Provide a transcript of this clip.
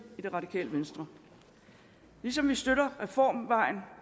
i det radikale venstre ligesom vi støtter reformvejen